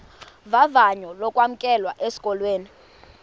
vavanyo lokwamkelwa esikolweni